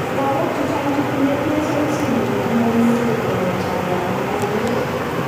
Logok chechang Chetinye Pierson syndrome, komouimuche kotonoso alan ko kopur